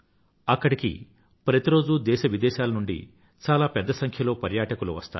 అక్కడ ప్రతిరోజూ దేశవిదేశాల నుండి చాలాపెద్ద సంఖ్యలో పర్యాటకులు వస్తారు